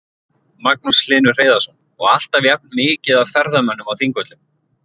Magnús Hlynur Hreiðarsson: Og alltaf jafnt mikið af ferðamönnum á Þingvöllum?